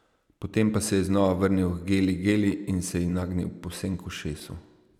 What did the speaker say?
Potem pa se je znova vrnil h Geli Geli in se ji nagnil povsem k ušesu.